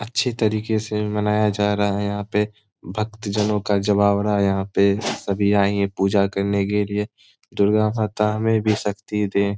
अच्छी तरीके से बनाया जा रहा है यहाँ पे भक्त जनों का जमावाड़ा है। यहाँ पे सभी आयी है पूजा करने के लिए दुर्गा माता हमें भी शक्ति दे।